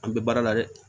An bɛ baara la dɛ